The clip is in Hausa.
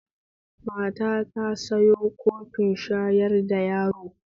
Mata ta ta sayo kofin shayar da yaro